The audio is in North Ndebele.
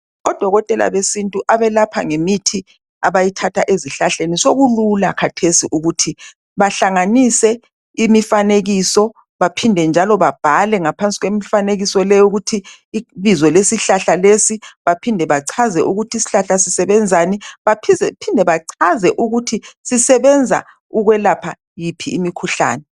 Odokotela besintu abelapha ngemithi abayithatha ezihlahleni sokulula khathesi ukuthi bahlanganise imifanekiso baphinde njalo babhale ngaphansi kwemifanekiso leyo ukuthi ibizo lesihlahla lesi baphinde bachaze ukuthi isihlahla sisebenzani baphinde bachaze ukuthi sisebenza ukwelapha yiphi imikhuhlane.